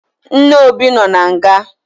Nne Obi nọ na nga